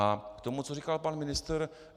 A k tomu, co říkal pan ministr.